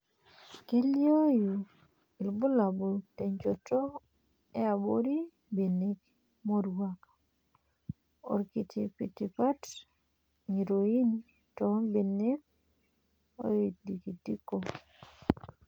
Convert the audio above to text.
Keliooyu irbulabul tenchoto yaabori, mbenek moruak ,oorkitipitipat ng'iroin too mbenek oidikidiko.